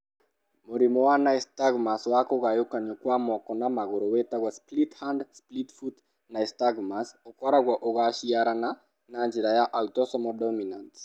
Mũrimũ wa nystagmus wa kũgayũkanwo kwa moko na magũrũ wĩtagwo split hand split foot nystagmus, ũkoragwo ũgaciarana na njĩra ya autosomal dominant.